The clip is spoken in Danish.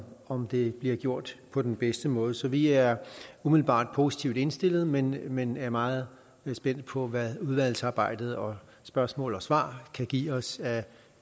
om det bliver gjort på den bedste måde så vi er umiddelbart positivt indstillet men men er meget spændte på hvad udvalgsarbejdet og spørgsmål og svar kan give os af